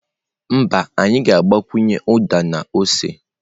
Mba, anyị ga-agbakwunye uda na ose.